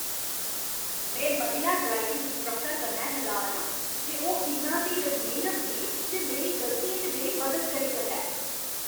में महिला driving instructor कन्नै नराज आं जे ओह् इन्ना धीरज नेईं रखदी जे मेरी गलतियें च मेरी मदद करी सकै।